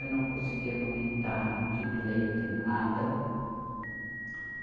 Eu não consegui amamentar, não tive leite, nada.